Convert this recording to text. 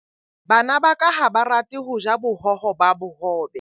Bana ba ka ha ba rate ho ja bohoho ba bohobe.